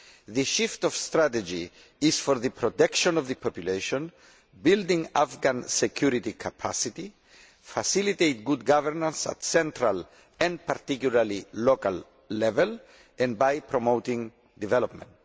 The shift in strategy is for the protection of the population, building the Afghan security capacity, facilitating good governance at central, and particularly local, level, and promoting development.